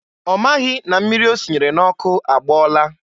Ọ maghị na mmiri o sinyere n'ọkụ agbọọla.